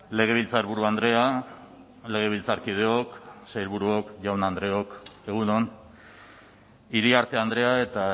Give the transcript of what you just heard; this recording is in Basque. legebiltzarburu andrea legebiltzarkideok sailburuok jaun andreok egun on iriarte andrea eta